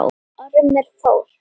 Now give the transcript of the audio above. Ormur fór.